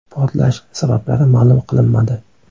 Portlash sabablari ma’lum qilinmadi.